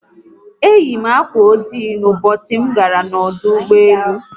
Eyi m akwa ojii Ụbọchị m gara n'ọdụ ụgbọelu